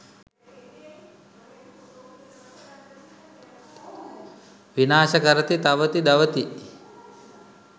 විනාශ කරති, තවති, දවති.